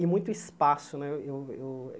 E muito espaço né. Eu eu